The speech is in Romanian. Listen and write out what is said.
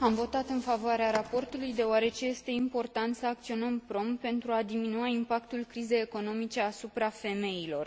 Am votat în favoarea raportului, deoarece este important să acționăm prompt pentru a diminua impactul crizei economice asupra femeilor.